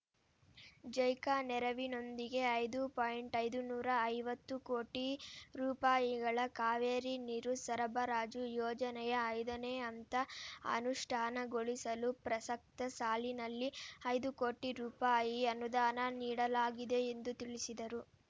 JICA ನೆರವಿನೊಂದಿಗೆ ಐದು point ಐದು ನೂರ ಐವತ್ತು ಕೋಟಿ ರೂಪಾಯಿಗಳ ಕಾವೇರಿ ನೀರು ಸರಬರಾಜು ಯೋಜನೆಯ ಐದನೇ ಹಂತ ಅನುಷ್ಠಾನಗೊಳಿಸಲು ಪ್ರಸಕ್ತ ಸಾಲಿನಲ್ಲಿ ಐದು ಕೋಟಿ ರೂಪಾಯಿ ಅನುದಾನ ನೀಡಲಾಗಿದೆ ಎಂದು ತಿಳಿಸಿದರು